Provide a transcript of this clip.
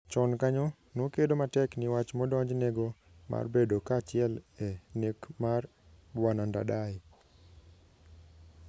Chon kanyo, nokedo matek ni wach modonjnego mar bedo kaachile e nek mar Bw Ndadaye.